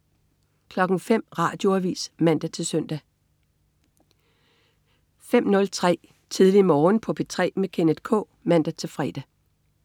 05.00 Radioavis (man-søn) 05.03 Tidlig Morgen på P3 med Kenneth K (man-fre)